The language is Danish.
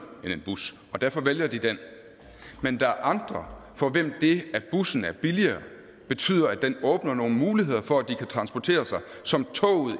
end en bus og derfor vælger de det men der er andre for hvem det at bussen er billigere betyder at det åbner nogle muligheder for at de kan transportere sig som toget